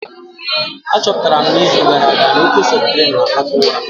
Achọpụtara m n'izu gara aga na oke septrin na-akpata ụra